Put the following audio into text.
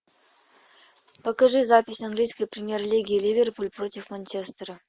покажи запись английской премьер лиги ливерпуль против манчестера